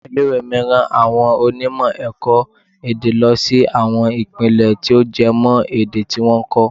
Ilé ìwé mi rán àwọn onímọ̀ ẹ̀kọ́-èdè lọ sí àwọn Ìpínlẹ̀ tí ó jẹ mọ́ èdè tí wọ́n ń kọ́.